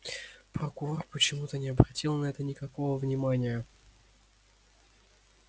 прокурор почему-то не обратил на это никакого внимания